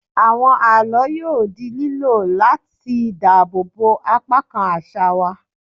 Àwọn àlọ́ yóò di lílò láti dáàbò bo apá kan àṣà wa.